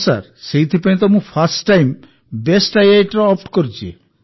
ହଁ ସାର୍ ସେଥିପାଇଁ ମୁଁ ଫର୍ଷ୍ଟ ଟାଇମ୍ ବେଷ୍ଟ IITର ଅପ୍ଟ କରିଛି